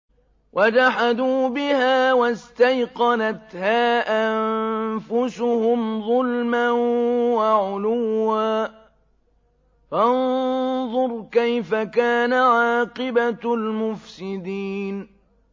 وَجَحَدُوا بِهَا وَاسْتَيْقَنَتْهَا أَنفُسُهُمْ ظُلْمًا وَعُلُوًّا ۚ فَانظُرْ كَيْفَ كَانَ عَاقِبَةُ الْمُفْسِدِينَ